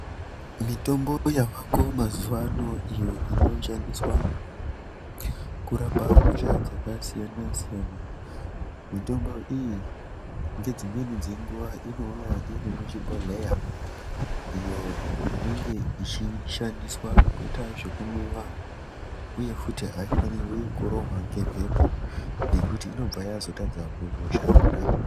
Mitombo yavako mazuwano iyo inoshandiswa kurapa hosha dzakasiyana-siyana. Mitombo iyi ngedzimweni dzenguwa inouya iri muzvibhohleya iyo inenge ichishandiswa kuita zvekumwiwa uyefuti haifanirwi kurohwa ngemhepo nekuti inobva yazotadza kuzoshanda.